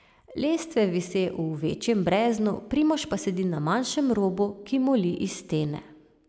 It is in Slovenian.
Lestve vise v večjem breznu, Primož pa sedi na manjšem robu, ki moli iz stene.